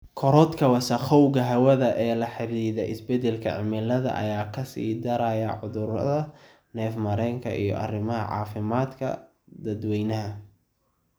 Korodhka wasakhowga hawada ee la xidhiidha isbeddelka cimilada ayaa ka sii daraya cudurrada neef-mareenka iyo arrimaha caafimaadka dadweynaha.